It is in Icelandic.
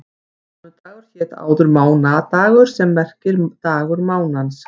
Mánudagur hét áður mánadagur sem merkir dagur mánans.